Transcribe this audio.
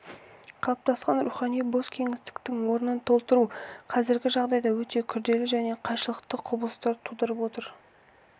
қалыптасқан рухани бос кеңістіктің орнын толтыру қазіргі жағдайда өте күрделі және қайшылықты құбылыстар тудырып отыр